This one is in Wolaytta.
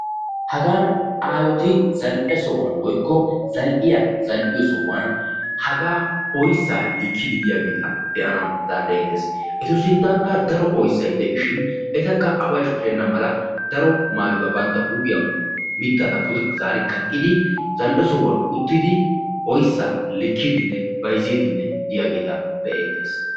Hagan aayoti zal'e sohuwan woykko zal'iyaa zal'iyo sohuwaan haga oyssa likkidi diyageta beanawu danddayettees. Ettu sinttankka daro oyssay de'ishin etaka away shoccena mala daro maayuwaa bantta huuphphiyaan mittadan pude zari kaqqidi zal'e sohuwaan uttidi oyssa likkidine bayzzidi diayageta be'ettees.